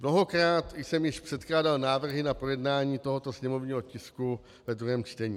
Mnohokrát jsem již předkládal návrhy na projednání tohoto sněmovního tisku ve druhém čtení.